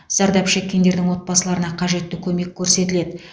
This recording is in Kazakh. зардап шеккендердің отбасыларына қажетті көмек көрсетіледі